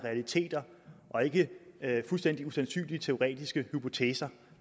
realiteter og ikke fuldstændig usandsynlige teoretiske hypoteser